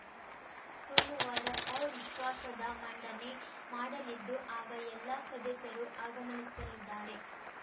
ಸೋಮುವಾರ ಅವಿಶ್ವಾಸದ ಮಂಡನೆ ಮಾಡಲಿದ್ದು ಆಗ ಎಲ್ಲ ಸದಸ್ಯರು ಆಗಮನಿಸಲಿದ್ದಾರೆ